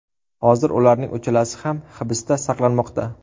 Hozir ularning uchalasi ham hibsda saqlanmoqda.